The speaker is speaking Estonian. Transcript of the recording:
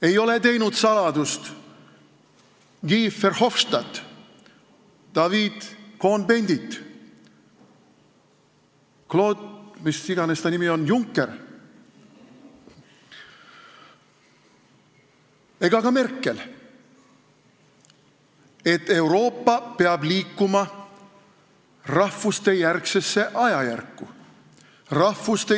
Ei ole Guy Verhofstadt, Daniel Cohn-Bendit, Claude – mis iganes ta nimi on – Juncker ega ka Merkel teinud saladust, et Euroopa peab liikuma rahvustejärgsesse ajajärku.